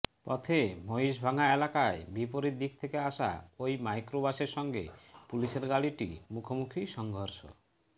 পথে মহিষভাঙ্গা এলাকায় বিপরীত দিক থেকে আসা ওই মাইক্রোবাসের সঙ্গে পুলিশের গাড়িটির মুখোমুখি সংঘর্ষ